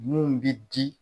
Mun bi di